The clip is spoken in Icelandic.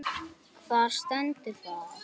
Hvar stendur það?